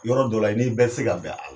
Yɔrɔ dɔ la i nin bɛɛ tɛ se ka bɛn